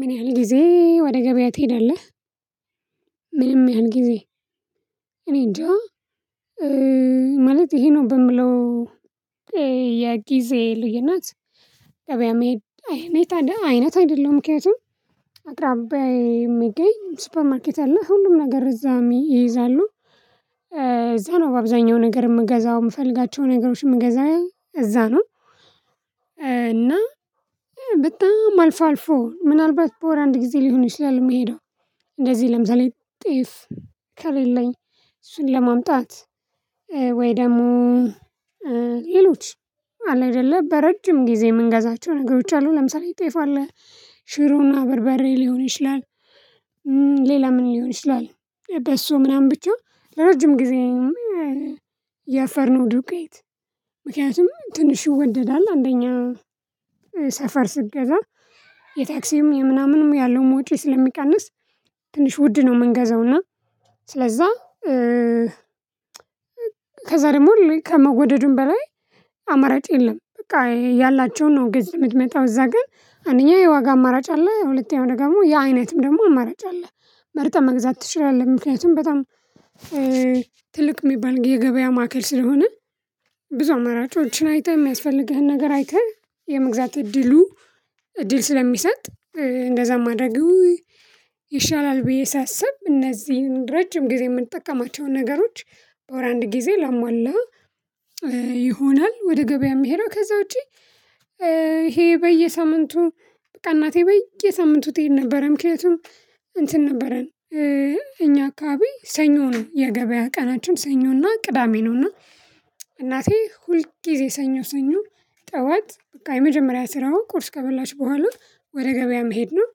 ምን ያህል ጊዜ ወደ ገበያ ትሄዳለህ? ምንም ያህል ጊዜ እኔ እንጃ ማለት ይሄ ነው። በምለው የጊዜ ልዩነት። ገበያ መሄድ አይነት አይነት አይደለሁም ምክንያቱም አቅራቢያዬ የሚገኝ ሱፐር ማርኬት አለ ሁሉም ነገር እዛ ይይዛሉ እዛ ነው በአብዛኛው ነገር እምገዛው አሰምፈልጋቸው ነገሮች እምገዛ እዛ ነው። እና በጣም አልፎ አልፎ ምናልባት በወር አንድ ጊዜ ሊሆን ይችላል። እምሄደው እንደዚህ ለምሳሌ ጤፍ ከሌለኝ እሱን ለማምጣት ወይ ደሞ ሌሎች አለ አይደለ በረጅም ጊዜ እምንገዛቸው ነገሮች አሉ ለምሳሌ ጤፍ አለ ሽሮና በርበሬ ሊሆን ይችላል። ሌላ ምን ሊሆን ይችላል በሶ ምናምን ብቻ ለረጅም ጊዜ የፍርኖ ዱቄት ምክንያቱም ትንሽ ይወደዳል አንደኛ ሰፈር ስትገዛ የታክሲም የምናምንም ያለው ወጭ ስለሚቀንስ ትንሽ ውድ ነው እምንገዘው እና ስለዛ ከዛ ደሞ ከመወደዱም በላይ አማራጭ የለም። በቃ ያላቸውን ነው ገዝተህ እምትመጣው እዛ ግን አንደኛ የዋጋ አማራጭ አለ ሁለተኛው ደግሞ የአይነትም ደግሞ አማራጭ አለ መርጠህ መግዛት ትችላለህ። ምክንያቱም በጣም ትልቅ እሚባል የገበያ ማዕከል ስለሆነ ብዙ አማራጮችን አይተህ እሚያስፈልግህን ነገር አይተህ የመግዛት እድሉ እድል ስለሚሰጥ እንደዛ ማድረጉ ይሻላል ብዬ ሳስብ እነዚህን ረጅም ጊዜ እምንጠቀማቸውን ነገሮች በወር አንድ ጊዜ ላሟላ። ይሆናል ወደ ገበያ እሚሄደው ከዛ ውጪ ይሄ በየሳምንቱ በቃ እናቴ በይ የሳምንቱ ትሄድ ነበረ ምክንያቱም እንትን ነበረን እኛ አካባቢ ሰኞ ነው የገበያ ቀናችን ሰኞና ቅዳሜ ነውና እናቴ ሁልጊዜ ሰኞ ሰኞ ጠዋት በቃ የመጀመሪያ ስራውን ቁርስ ከበላች በኋላው ወደ ገበያ መሄድ ነው።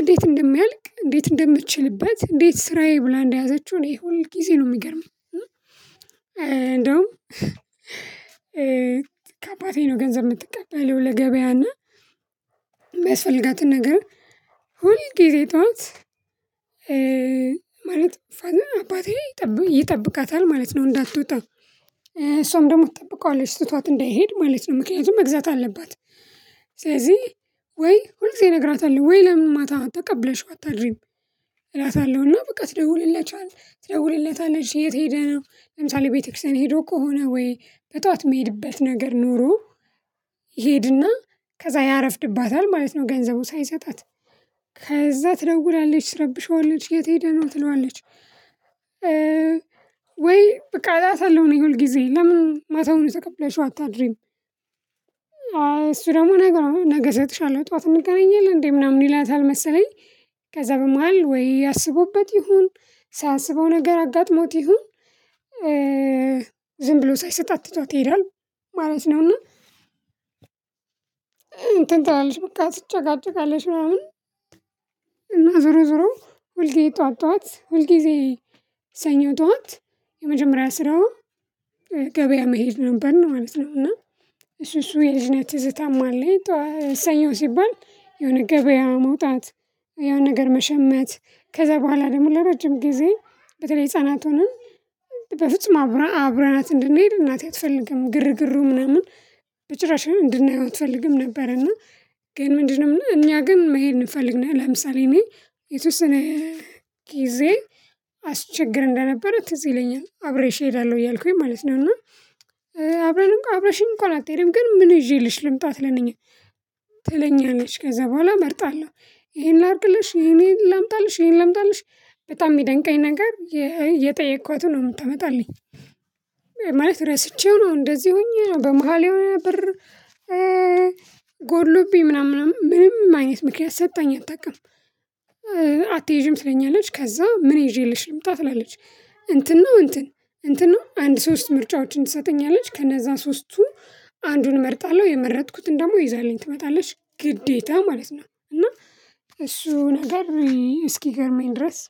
እንዴት እንደሚያልቅ እንዴት እንደምትችልበት እንዴት ስራዬ ብላ እንደያዘችው እኔ ጊዜ ነው እሚገርመኝ። እንደውም ከአባቴ ነው ገንዘብ እምትቀበለው ለገበያና እሚያስፈልጋትን ነገር ሁል ጊዜ ጥዋት ማለት አባቴ ይጠብቃታል ማለት ነው እንዳትወጣ እሷም ደሞ ትጠብቀዋለች ትቷት እንዳይሄድ ማለት ነው ምክንያቱም መግዛት አለባት። ስለዚህ ወይ ሁል ጊዜ እነግራታለሁ ወይ ለምን ማታ ተቀብለሽ አታድሪም? እላታለሁና በቃ ትደውልለታለች የት ሄደህ ነው ለምሳሌ ቤተክርስቲያን ሄዶ ከሆነ ወይ በጧት እሚሄድበት ነገር ኖሮ ይሄድና ከዛ ያረፍድባታል ማለት ነው። ገንዘቡን ሳይሰጣት ከዛ ትለውላለች ትረብሸዋለች የት ሄደ ነው ትለዋለች? ወይ በቃ እላታለሁ ነው የሁል ጊዜ ለምን ማታውን ተቀብለሽው አታድሪም? እሱ ደግሞ ነገ ነገ እሰጥሻለሁ ጥዋት እንገናኝ የለ እንዴ ምናምን ይላታል መሰለኝ። ከዛ በመሃል ወይ አስቦበት ይሁን ሳያስበው ነገር አጋጥሞት ይሁን ዝም ብሎ ሳይሰጣት ትቷት ይሄዳል ማለት ነውና። እንትን ትላለች በቃ ትጨቃጭቃለች ምናምን እና ዞሮ ዞሮ ሁልጊዜ ጥዋት ጥዋት ሁልጊዜ ሰኞ ጥዋት የመጀመሪያ ስራዋ ገበያ መሄድ ነበር ነው ማለት ነው። እና እሱ እሱ የልጅነት ትዝታም አለኝ ሰኞ ሲባል የሆነ ገበያ መውጣት የሆነ ነገር መሸመት ከዛ በኋላ ደሞ ለረጅም ጊዜ በተለይ ህፃናት ሆነ በፍጹም አብረናት እንድንሄድ እናቴ አትፈልግም ግርግሩ ምናምን በጭራሽ እንድናየው አትፈልግም ነበር። እና ግን ምንድነው እኛ ግን መሄድ እንፈልጋለን። ለምሳሌ እኔ የተወሰነ ጊዜ አስቸግር እንደነበረ ትዝ ይለኛል አብሬሽ እሄዳለሁ እያልኩኝ ማለት ነው። እና አብረሽኝ እንኳን አትሄጅም ግን ምን ይዤልሽ ልምጣ ትለኛለች። ትለኛለች ከዛ በኋላ እመርጣለሁ ይሄን ላድርግልሽ ይሄን ላምጣልሽ ይሄን ላምጣልሽ በጣም እሚደንቀኝ ነገር የጠየኳትን ነው። እምትመጣለኝ ማለት ረስቼው ነው እንደዚህ ሆኜ በመሃል የሆነ ብር ጎድሎብኝ ምናምን ምናምን ምንም አይነት ምክንያት ሰጠኝ አታውቅም። አትይጅም ትለኛለች ከዛ ምን ይዤልሽ ልምጣ ትላለች? እንትን ነው እንትን እንትን ነው አንድ ሶስት ምርጫዎችን ትሰጠኛለች ከነዛ ሶስቱ አንዱን እመርጣለሁ የመረጥኩትን ደሞ ይዛልኝ ትመጣለች ግዴታ ማለት ነው። እና እሱ ነገር እስኪገርመኝ ድረስ